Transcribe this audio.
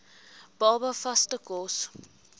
baba vaste kos